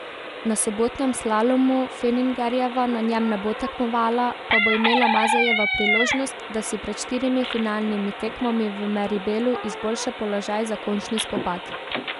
Na sobotnem slalomu, Fenningerjeva na njem ne bo tekmovala, pa bo imela Mazejeva priložnost, da si pred štirimi finalnimi tekmami v Meribelu izboljša položaj za končni spopad.